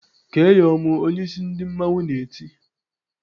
"Kee ya ọmụ!" Onyeisi ndị mmanwụ na-eti.